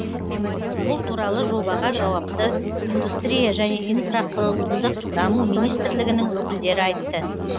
бұл туралы жобаға жауапты индустрия және инфрақұрылымдық даму министрлігінің өкілдері айтты